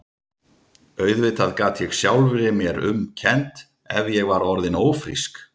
Auðvitað gat ég sjálfri mér um kennt ef ég var orðin ófrísk.